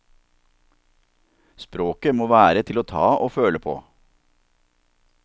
Språket må være til å ta og føle på.